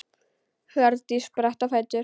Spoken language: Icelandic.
Hjördís spratt á fætur.